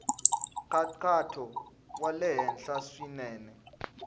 nkhaqato wa le henhla swinene